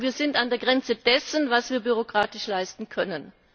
Die sagen Wir sind an der Grenze dessen, was wir bürokratisch leisten können.